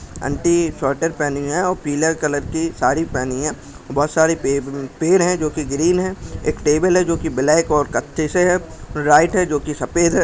Aunty sweater पहनी है पीला कलर की साड़ी पहनी है बहुत सारे पेड़ है जो कि ग्रीन है एक टेबल है जो ब्लैक और कच्चे से है लाइट है जो की सफेद है।